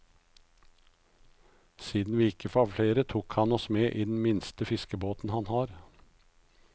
Siden vi ikke var flere, tok han oss med i den minste fiskebåten han har.